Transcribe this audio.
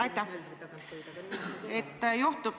Aitäh!